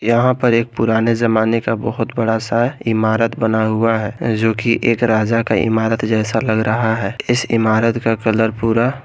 यहां पर एक पुराने जमाने का बहुत बड़ा सा इमारत बना हुआ है जो कि एक राजा का इमारत जैसा लग रहा है इस इमारत का कलर पूरा--